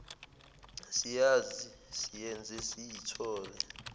siyazi siyenze siyithole